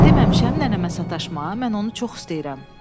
Deməmişəm nənəmə sataşma, mən onu çox istəyirəm.